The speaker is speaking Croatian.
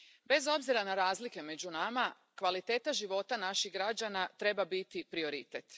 Bez obzira na razlike među nama, kvaliteta života naših građana treba biti prioritet.